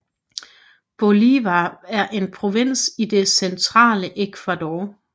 Bolívar er en provins i det centrale Ecuador